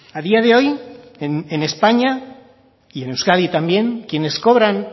a día de hoy en españa y en euskadi también quienes cobran